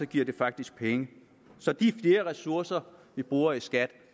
giver det faktisk penge så de flere ressourcer vi bruger i skat